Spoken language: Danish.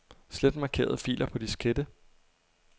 Slet markerede filer på diskette.